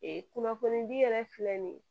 kunnafonidi yɛrɛ filɛ nin ye